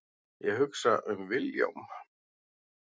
Ég hugsa um Vilhjálm.